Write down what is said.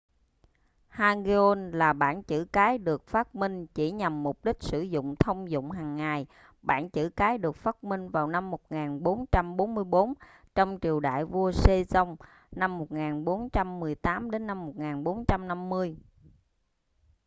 hangeul là bảng chữ cái được phát minh chỉ nhằm mục đích sử dụng thông dụng hàng ngày. bảng chữ cái được phát minh vào năm 1444 trong triều đại vua sejong 1418 - 1450